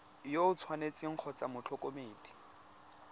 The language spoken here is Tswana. yo o tshwanetseng kgotsa motlhokomedi